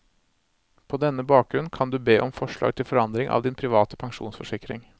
På denne bakgrunn kan du be om forslag til forandring av din private pensjonsforsikring.